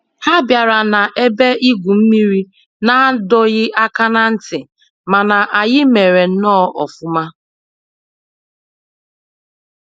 Ha bịara na ebe igwu mmiri n'adọghị aka na ntị, mana anyị mere nnọọ ọfụma